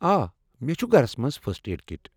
آ، مے٘ چُھ گھرس منز فسٹ ایڈ کِٹ۔